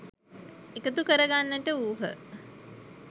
එකතු කරගන්නට වූහ.